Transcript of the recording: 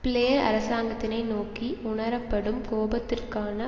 player அரசாங்கத்தினை நோக்கி உணரப்படும் கோபத்திற்கான